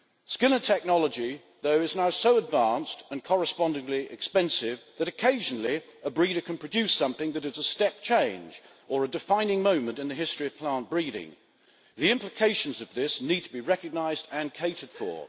Skill and technology, though, is now so advanced and correspondingly expensive that occasionally a breeder can produce something that is a step change or a defining moment in the history of plant breeding. The implications of this need to be recognised and catered for.